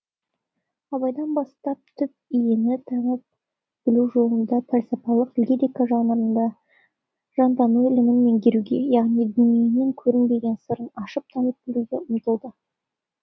абайдан бастап түп иені танып білу жолында пәлсапалық лирика жанрында жантану ілімін меңгеруге яғни дүниенің көрінбеген сырын ашып танып білуге ұмтылды